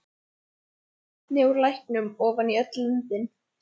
Veita vatni úr læknum ofan í öll löndin.